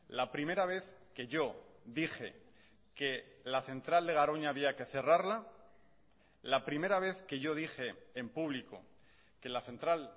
la primera vez que yo dije que la central de garoña había que cerrarla la primera vez que yo dije en público que la central